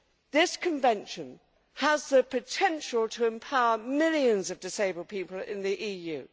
This Convention has the potential to empower millions of disabled people in the EU.